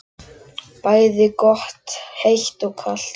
Bæði gott heitt og kalt.